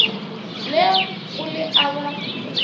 le go le a ba